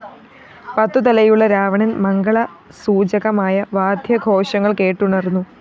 പത്തുതലയുള്ള രാവണന്‍ മംഗളസൂചകമായ വാദ്യഘോഷങ്ങള്‍ കേട്ടുണര്‍ന്നു